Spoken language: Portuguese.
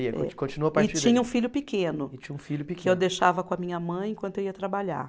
Continua. E tinha um filho pequeno. E tinha um filho pequeno. Que eu deixava com a minha mãe enquanto eu ia trabalhar.